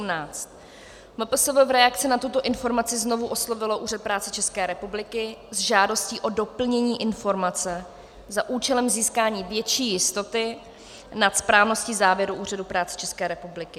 MPSV v reakci na tuto informaci znovu oslovilo Úřad práce České republiky s žádostí o doplnění informace za účelem získání větší jistoty nad správností závěru Úřadu práce České republiky.